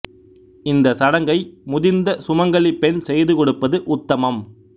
இந்த சடங்கை முதிர்ந்த சுமங்கலி பெண் செய்து கொடுப்பது உத்தமம்